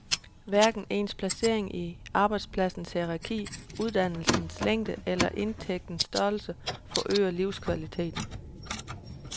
Hverken ens placering i arbejdspladsens hierarki, uddannelsens længde eller indtægtens størrelse forøger livskvaliteten.